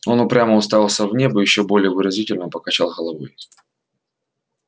он упрямо уставился в небо и ещё более выразительно покачал головой